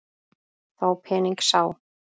Þá pening sá.